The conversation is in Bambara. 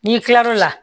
N'i kilal'o la